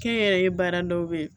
Kɛnyɛrɛye baara dɔw bɛ ye